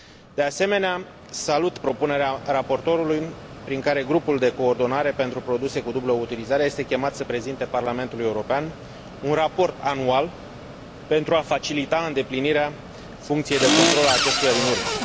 De asemenea, salut propunerea raportorului prin care Grupul de coordonare pentru produse cu dublă utilizare este chemat să prezinte Parlamentului European un raport anual pentru a facilita îndeplinirea funcției de control a acestuia din urmă.